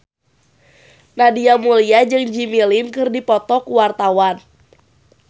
Nadia Mulya jeung Jimmy Lin keur dipoto ku wartawan